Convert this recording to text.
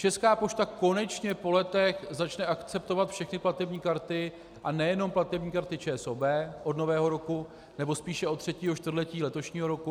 Česká pošta konečně po letech začne akceptovat všechny platební karty a nejenom platební karty ČSOB od Nového roku, nebo spíše od třetího čtvrtletí letošního roku.